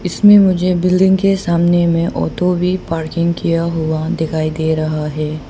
इसमें मुझे बिल्डिंग के सामने में ऑटो भी पार्किंग किया हुआ दिखाई दे रहा है।